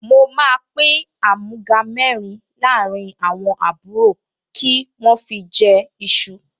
Mo máa àmúga mẹ́rin láàrín àwọn àbúrò kí wọ́n fi jẹ iṣu